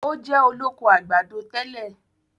Ó jẹ́ Olóko àgbàdo tẹ́lẹ̀.